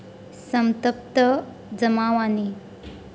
संतप्त जमावाने.